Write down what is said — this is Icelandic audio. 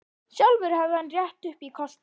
Sjálfur hefði hann rétt upp í kostnað.